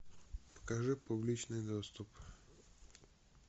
покажи публичный доступ